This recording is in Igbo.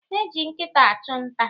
Eji nkịta achụ nta.